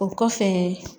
O kɔfɛ